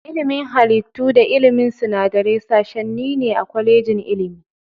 Ilimin halittu da ilimin sinadarai sashenni ne a kwalejin ilimi.